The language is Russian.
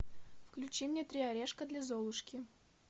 включи мне три орешка для золушки